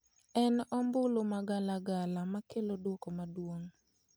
En ombulu ma galagala makelo duoko maduong'.